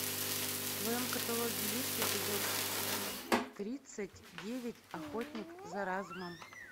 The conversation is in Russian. в твоем каталоге есть эпизод тридцать девять охотник за разумом